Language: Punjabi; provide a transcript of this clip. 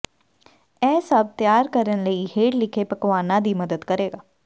ਇਹ ਸਭ ਤਿਆਰ ਕਰਨ ਲਈ ਹੇਠ ਲਿਖੇ ਪਕਵਾਨਾ ਦੀ ਮਦਦ ਕਰੇਗਾ